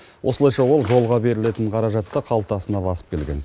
осылайша ол жолға берілетін қаражатты қалтасына басып келген